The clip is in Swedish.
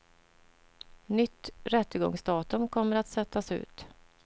Nytt rättegångsdatum kommer att sättas ut.